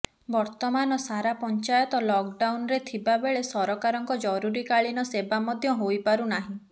ବର୍ତ୍ତମାନ ସାରା ପଞ୍ଚାୟତ ଲକ୍ଡାଉନ୍ରେ ଥିବା ବେଳେ ସରକାରଙ୍କ ଜରୁରୀ କାଳୀନ ସେବା ମଧ୍ୟ ହୋଇପାରୁ ନାହିଁ